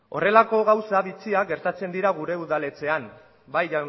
horrelako gauza bitxiak gertatzen dira gure udaletxean bai